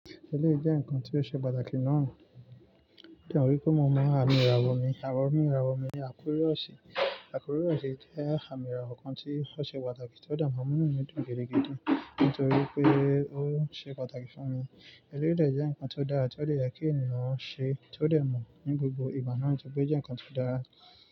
Eléyìí jẹ́ nǹkan tí ó ṣe pàtàkì náà. Ìdánwò rí pé mo mọ àmì ìràwọ̀ mi. Àmi, ìràwọ̀ mi ni acquirious. Acquirors i jẹ́ àmì ìràwọ̀ kan tí ó ṣe pàtàkì tí ó dè maa n múnú mi dùn gidigidi nítorí pé ó ṣe pàtàkì fún mi. Eléyìí jẹ́ nǹkan tí ó dára tí ó de yẹ́ kí ènìyàn ṣe tí ó le mọ̀ ní gbogbo ìgbà náà nítorí pé o jẹ́ nǹkan tí ó dára.